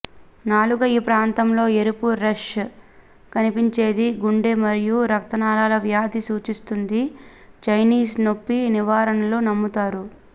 నాలుక ఈ ప్రాంతంలో ఎరుపు రష్ కనిపించేది గుండె మరియు రక్తనాళాల వ్యాధి సూచిస్తుంది చైనీస్ నొప్పి నివారణలు నమ్ముతారు